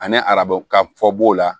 Ani arabu ka fɔ b'o la